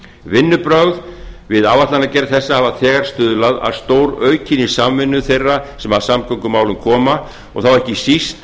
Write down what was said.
vinnubrögð við áætlanagerð þessa hafa þegar stuðlað að stóraukinni samvinnu þeirra sem að samgöngumálum koma og þá ekki síst